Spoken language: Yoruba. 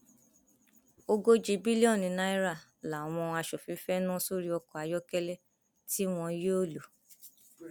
ogójì bílíọnù náírà làwọn aṣòfin fee nà sórí ọkọ ayọkẹlẹ tí wọn yóò lò